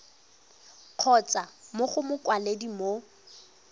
kgotsa mo go mokwaledi mo